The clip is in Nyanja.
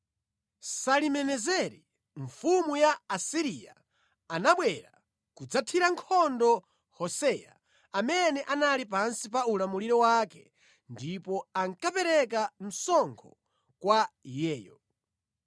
Salimenezeri mfumu ya ku Asiriya anabwera kudzathira nkhondo Hoseya amene anali pansi pa ulamuliro wake ndipo ankapereka msonkho kwa iyeyo.